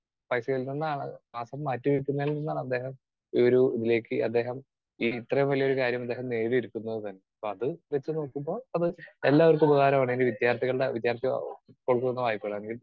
Speaker 2 പൈസയിൽ നിന്നാണ് മാസം മാറ്റിവയ്ക്കുന്നതിൽ നിന്നാണ് അദ്ദേഹം ഈയൊരു ഇതിലേക്ക് അദ്ദേഹം ഈ ഇത്രയും വലിയൊരു കാര്യം അദ്ദേഹം നേടിയെടുക്കുന്നത് തന്നെ. അപ്പോ അത് വെച്ചുനോക്കുമ്പോൾ തന്നെ അത് എല്ലാവർക്കും ഉപകാരം ആണ്. ഇനി വിദ്യാർഥികളുടെ വിദ്യാർഥി